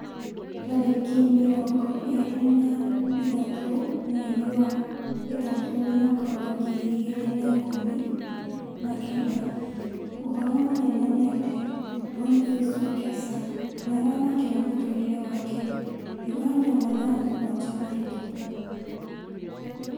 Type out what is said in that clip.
Tarĩki mĩrongo ĩrĩ na ithatũ mweri wa ĩtatũ mwaka wa ngiri igĩri na ikũmi na kenda: ũhoro mũnene nĩ atĩ" Boniface Wekesa nĩaramakĩra mũtũrĩre wake" Uganda mathaa mũgwanja mahĩtũku